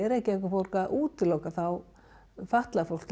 Reykjavíkurborg að útiloka fatlað fólk